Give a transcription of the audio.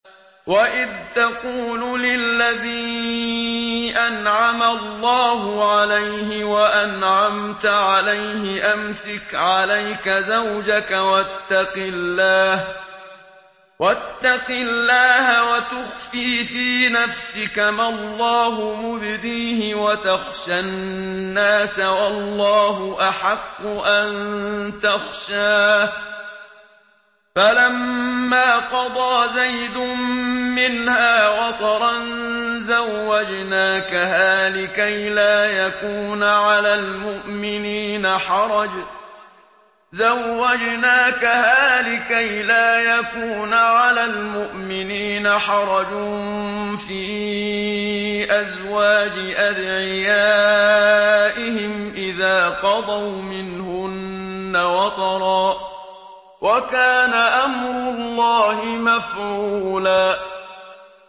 وَإِذْ تَقُولُ لِلَّذِي أَنْعَمَ اللَّهُ عَلَيْهِ وَأَنْعَمْتَ عَلَيْهِ أَمْسِكْ عَلَيْكَ زَوْجَكَ وَاتَّقِ اللَّهَ وَتُخْفِي فِي نَفْسِكَ مَا اللَّهُ مُبْدِيهِ وَتَخْشَى النَّاسَ وَاللَّهُ أَحَقُّ أَن تَخْشَاهُ ۖ فَلَمَّا قَضَىٰ زَيْدٌ مِّنْهَا وَطَرًا زَوَّجْنَاكَهَا لِكَيْ لَا يَكُونَ عَلَى الْمُؤْمِنِينَ حَرَجٌ فِي أَزْوَاجِ أَدْعِيَائِهِمْ إِذَا قَضَوْا مِنْهُنَّ وَطَرًا ۚ وَكَانَ أَمْرُ اللَّهِ مَفْعُولًا